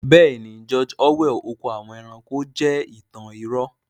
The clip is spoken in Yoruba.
Bẹ́ẹ̀ni, 'George orwell' oko àwọn ẹranko(animal farm) jẹ́ ìtàn irọ́